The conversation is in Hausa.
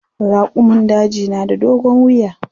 Raƙumun daji na da dogon wiya.